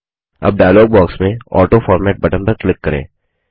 अब dialog box में autoformat button पर क्लिक करें